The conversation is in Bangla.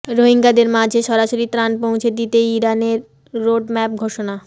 রোহিঙ্গাদের মাঝে সরাসরি ত্রাণ পৌঁছে দিতে ইরানের রোডম্যাপ ঘোষণা